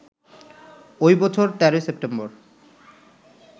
ওই বছর ১৩ সেপ্টেম্বর